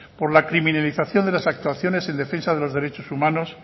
por la criminalización de las actuaciones en defensa de los derechos humanos